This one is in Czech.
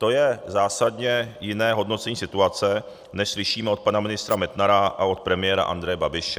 To je zásadně jiné hodnocení situace, než slyšíme od pana ministra Metnara a od premiéra Andreje Babiše.